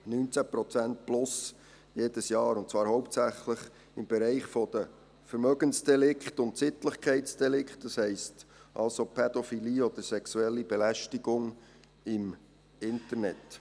Jedes Jahr plus 19 Prozent, und zwar hauptsächlich im Bereich der Vermögensdelikte und Sittlichkeitsdelikte, das heisst also, Pädophilie oder sexuelle Belästigung im Internet.